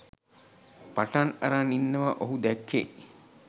පටන් අරන් ඉන්නව ඔහු දැක්කෙ.